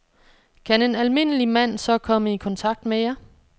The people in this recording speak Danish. Kan en almindelig mand så komme i kontakt med jer?